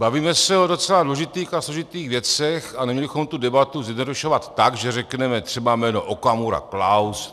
Bavíme se o docela důležitých a složitých věcech a neměli bychom tu debatu zjednodušovat tak, že řekneme třeba jméno Okamura, Klaus.